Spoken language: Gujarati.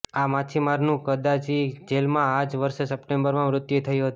આ માછીમારનું કરાચી જેલમાં આ જ વર્ષે સપ્ટેમ્બરમાં મૃત્યુ થયું હતું